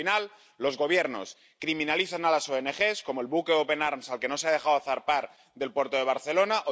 Al final, los Gobiernos criminalizan a las ONG, como al buque Open Arms, al que no se ha dejado zarpar del puerto de Barcelona.